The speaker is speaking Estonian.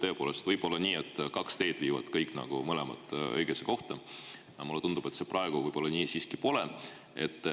Tõepoolest võib olla nii, et mõlemad teed viivad õigesse kohta, aga mulle tundub, et praegu see siiski nii pole.